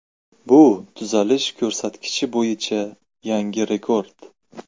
Bu tuzalish ko‘rsatkichi bo‘yicha yangi rekord.